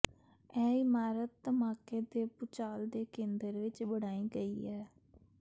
ਇਹ ਇਮਾਰਤ ਧਮਾਕੇ ਦੇ ਭੂਚਾਲ ਦੇ ਕੇਂਦਰ ਵਿਚ ਬਣਾਈ ਗਈ ਹੈ